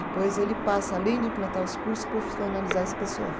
Depois ele passa, além de implantar os cursos, profissionalizar esse pessoal.